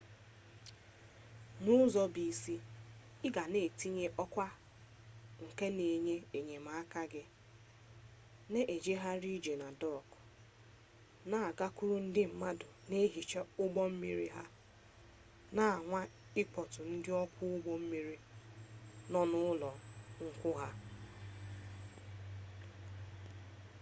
n'ụzọ bụ isi ị ga na-etinye ọkwa nke na-enye enyemaka gị na-ejegharị ije na dọọkụ na-agakwuru ndị mmadụ na-ehicha ụgbọ mmiri ha na-anwa ịkpọtụrụ ndị ọkwọ ụgbọ mmiri nọ n'ụlọ nkwụ ha wdg